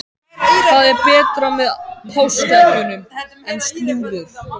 Hvað er betra með páskaeggjunum en slúður?